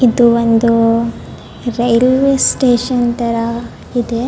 ಇದು ಒಂದು railway station ತರ ಇದೆ .